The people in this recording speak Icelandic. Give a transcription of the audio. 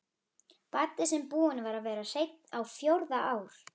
Baddi sem búinn var að vera hreinn á fjórða ár.